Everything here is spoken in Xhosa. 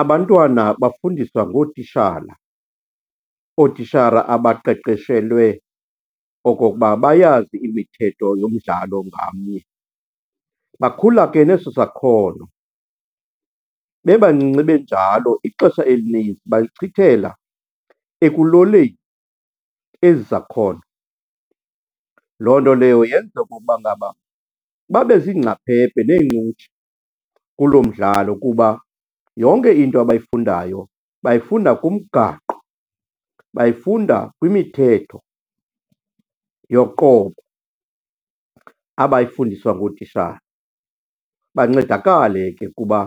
Abantwana bafundiswa ngootishala, ootishara abaqeqeshelwe okokuba bayazi imithetho yomdlalo ngamnye. Bakhula ke neso sakhono. Bebancinci benjalo, ixesha elininzi balichithela ekuloleni ezi zakhono. Loo nto leyo yenza okoba ngaba babe ziingcaphephe neencutshe kuloo mdlalo kuba yonke into abayifundayo bayifunda kumgaqo, bayifunda kwimithetho yoqobo abayifundiswa ngootishala. Bancedakale ke kuba